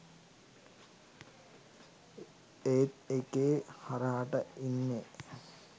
ඒත් එකේ හරහට ඉන්නේ